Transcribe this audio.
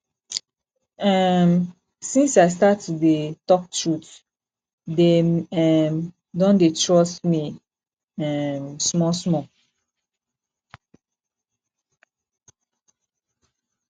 um since i start to dey tok truth dem um don dey trust me um smallsmall